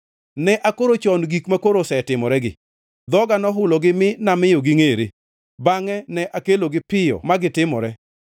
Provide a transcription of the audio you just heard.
Ne akoro chon gik makoro osetimoregi, dhoga nohulogi mi namiyo gingʼere; bangʼe ne akelogi piyo magitimore.